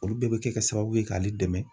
Olu bɛɛ bɛ kɛ sababu ye k'ale dɛmɛ.